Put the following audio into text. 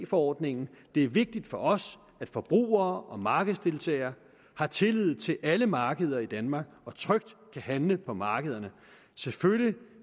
forordningen det er vigtigt for os at forbrugere og markedsdeltagere har tillid til alle markeder i danmark og trygt kan handle på markederne selvfølgelig